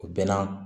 O bɛɛ la